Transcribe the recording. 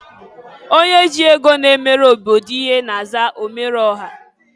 Onye ji ego na-emere obodo ihe na-aza omereọha.